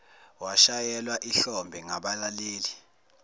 washayelwa ihlombe ngabalaleli